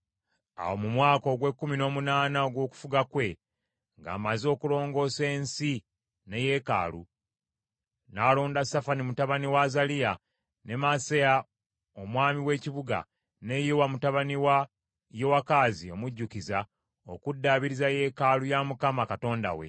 Awo mu mwaka ogw’ekkumi n’omunaana ogw’okufuga kwe ng’amaze okulongoosa ensi ne yeekaalu, n’alonda Safani mutabani wa Azaliya, ne Maaseya omwami w’ekibuga, ne Yowa mutabani wa Yowakazi omujjukiza, okuddaabiriza yeekaalu ya Mukama Katonda we.